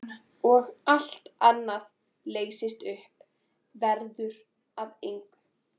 Og allt annað leysist upp, verður að engu.